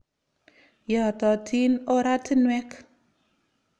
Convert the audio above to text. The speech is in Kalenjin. Yaatatin oratinwek.